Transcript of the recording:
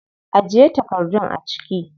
Ajiye takardun a ciki.